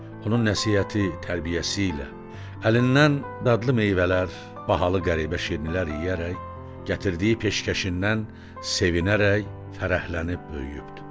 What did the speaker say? Onun nəsihəti, tərbiyəsi ilə əlindən dadlı meyvələr, bahalı qəribə şirnilər yeyərək, gətirdiyi peşkəşindən sevinərək, fərəhlənib böyüyübdü.